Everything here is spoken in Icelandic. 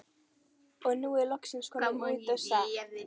Og er nú loksins kominn út á stétt.